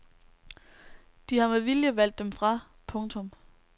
De har med vilje valgt dem fra. punktum